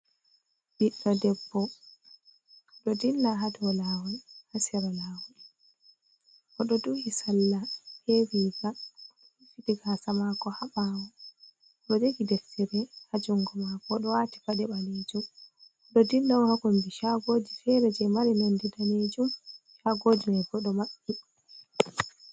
Ɓiɗɗo debbo, ɗo dilla haa sera lawol. Oɗo duhi sarla be riiga, rufiti gaasa maako haa ɓawo. Oɗo jogi deftere haa jungo maako. Oɗo waati paɗe ɓalejum. Oɗo dilla on haa kombi shagoji feere je mari nonde daneejum. Shagoji mai bo, ɗo maɓɓiti.